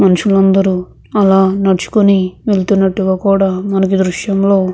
మనుషులందరూ అలా నడుచుకొని వెళ్తున్నట్టుగా కూడా మనకు దృశ్యంలో --